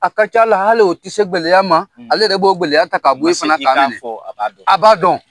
A ka ca la hali o ti se gɛlɛya ma, ale yɛrɛ b'o gɛlɛya ta ka bɔ a b'a dɔn.